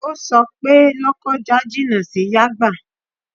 O sọ pé Lọ́kọ́ja jìnà sí Yàgbà